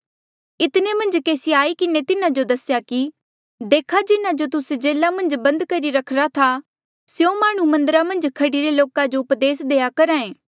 इतने मन्झ केसी ऐें आई किन्हें तिन्हा जो दसेया कि देखा जिन्हा जो तुस्से जेल्हा मन्झ बंद करी रखिरा था स्यों माह्णुं मन्दरा मन्झ खड़ीरे लोका जो उपदेस देआ करहा ऐें